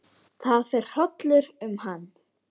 Það fer hrollur um hann.